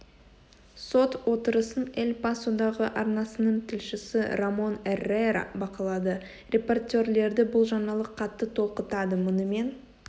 сот отырысын эль пасодағы арнасының тілшісі рамон эррера бақылады репортерлерді бұл жаңалық қатты толқытады мұнымен